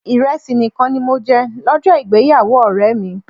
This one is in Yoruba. Ìrẹsì nìkan ni mo jẹ lọ́jọ́ ìgbéyàwó ọ̀rẹ́ mi.